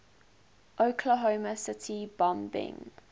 oklahoma city bombing